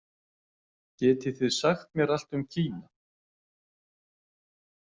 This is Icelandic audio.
Getið þið sagt mér allt um Kína.